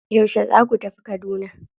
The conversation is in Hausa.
Yauce za ku tafi Kaduna?